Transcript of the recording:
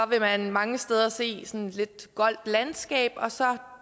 vil man mange steder se sådan et lidt goldt landskab og så